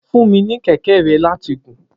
Fun mi ni kẹkẹ rẹ lati gùn.